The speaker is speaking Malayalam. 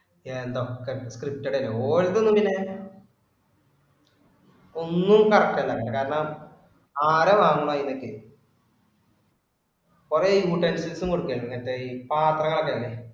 എന്തൊക്കെ scripted തന്നെ. ഓര് എന്താ ഇങ്ങനെ. ഒന്നും correct അല്ല അതില് കാരണം ആരാ വാങ്ങുന്നെ ഇതൊക്കെ. കുറെ മറ്റേ ഈ പാത്രങ്ങൾ ഒക്കെ ഇല്ലേ